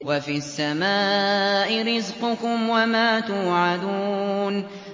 وَفِي السَّمَاءِ رِزْقُكُمْ وَمَا تُوعَدُونَ